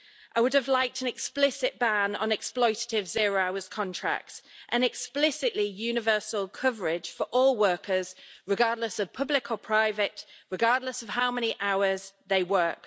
I would have liked an explicit ban on exploitative zero-hours contracts and an explicitly universal coverage for all workers, regardless of public or private, and regardless of how many hours they work.